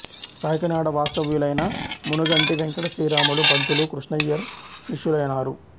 కాకినాడ వాస్తవ్యులైన మునుగంటి వెంకట శ్రీరాములు పంతులు కృష్ణయ్యర్ శిష్యులైనారు